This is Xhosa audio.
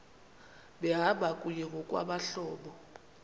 behamba kunye ngokwabahlobo